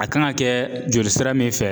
A kan ga kɛ joli sira min fɛ